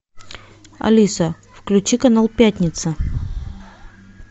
алиса включи канал пятница